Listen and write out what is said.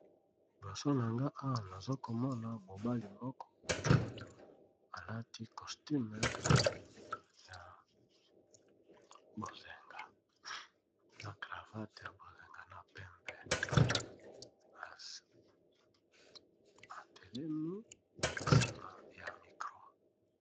Liboso na nga awa nazokomona mobali moko alati costume na cravate ya bozenga na pembe atelemi nsima ye micro.